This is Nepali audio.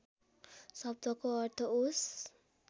शब्दको अर्थ ओस